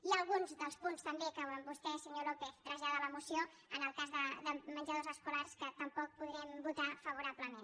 hi ha alguns dels punts també que vostè senyor lópez trasllada a la moció en el cas de menjadors escolars que tampoc podrem votar favorablement